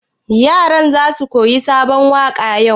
Yaran za su koyi sabon waƙa yau?